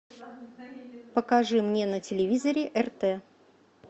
покажи мне на телевизоре рт